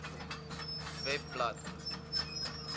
webblad